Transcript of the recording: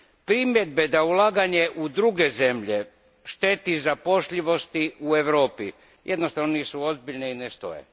Primjedbe da ulaganje u druge zemlje šteti zapošljivosti u Europi, jednostavno nisu ozbiljne i ne stoje.